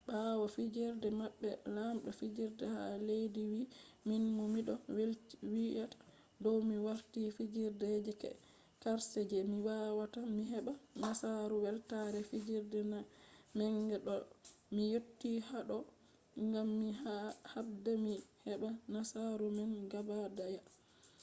ɓawo fijerde maɓɓe lamɗo fijerde ha leddi wi minfu miɗo welwita dow mi warti fijerde je karshe je mi wawata mi heɓa nasaru weltare fijerde manga ɗo mi yotti haɗɗo gam mi habda mi heɓa nasauru man gaɓa ɗaya